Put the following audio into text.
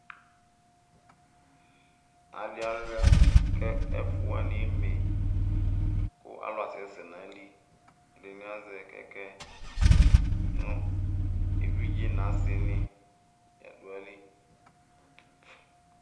Adi aluia kʋ ɛfʋ wani eme kʋ alʋ asɛsɛ nʋ ayili kʋ ɛdini azɛ kɛkɛ nʋ evidze nʋ asini ladʋ ayili